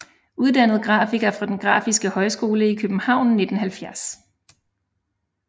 Uddannet grafiker fra Den Grafiske Højskole i København 1970